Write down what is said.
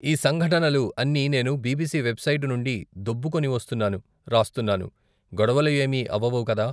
ఈ సంఘటనలు అన్ని నెను బి.బి.సి వెబ్ సైటు నుండి దోబ్బుకొనివస్తున్నాను, రాస్తున్నాను, గొడవలు ఏమీ అవ్వవు కదా. ?